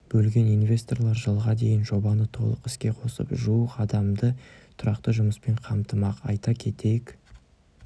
бөлген инвесторлар жылға дейін жобаны толық іске қосып жуық адамды тұрақты жұмыспен қамтымақ айта кетейік